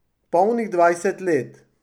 Polnih dvajset let.